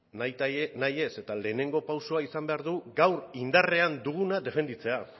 nahitaez eta lehenengo pausua izan behar du gaur indarrean duguna defendatzea